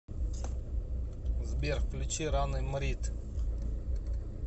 сбер включи раны мрид